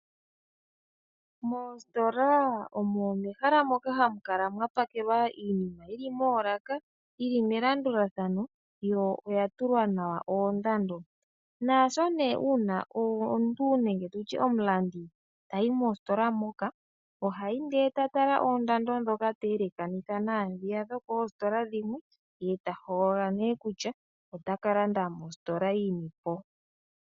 Moositola omo ehala moka hamu kala mwapakelwa iinima yili moolaka, yili melandulathano yo oya tulwa nawa oondando, naasho nee omuntu nenge nditye omulandi tayi moositola moka ohayi ndee ta tala oondando dhoka ta elekanitha naadhiya dhokoositola dhimwe, ye ta hogolola nee kutya ota kalanda mositola yini po.